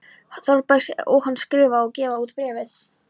Þórbergs og hann að skrifa og gefa út Bréfið.